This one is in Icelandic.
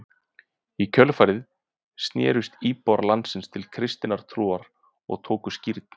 í kjölfarið snerust íbúar landsins til kristinnar trúar og tóku skírn